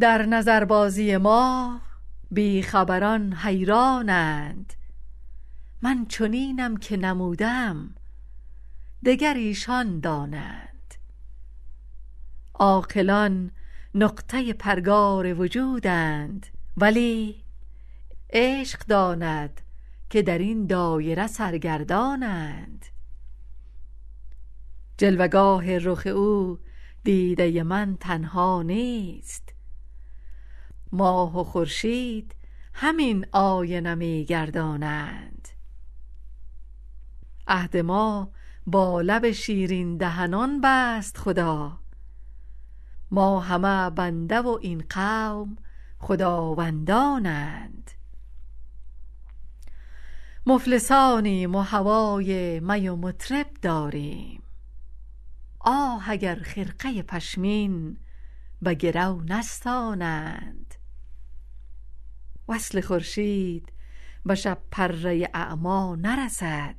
در نظربازی ما بی خبران حیران اند من چنینم که نمودم دگر ایشان دانند عاقلان نقطه پرگار وجودند ولی عشق داند که در این دایره سرگردان اند جلوه گاه رخ او دیده من تنها نیست ماه و خورشید همین آینه می گردانند عهد ما با لب شیرین دهنان بست خدا ما همه بنده و این قوم خداوندان اند مفلسانیم و هوای می و مطرب داریم آه اگر خرقه پشمین به گرو نستانند وصل خورشید به شب پره اعمی نرسد